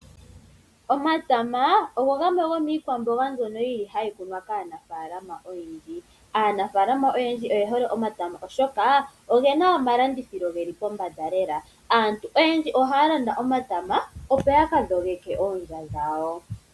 Omatama ogo gamwe gomiikwamboga mbyono hayi kunwa kaanafalama oyendji. Aanafalama oyendji oye hole omatama oshoka oge na omalandithilo geli pombanda lela, aantu oyendji ohaya landa omatama opo ya ka dhogeke oondja dhawo.